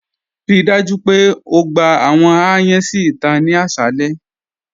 Ríí dájú pé ó gbà àwọn ayàn si íta ni àṣàlẹ̀.